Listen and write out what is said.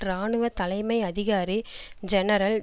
இராணுவ தலைமை அதிகாரி ஜெனரல்